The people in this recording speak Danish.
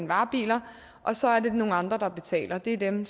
varebiler og så er det nogle andre der betaler og det er dem